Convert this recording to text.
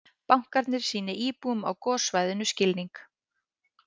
Bankarnir sýni íbúum á gossvæðum skilning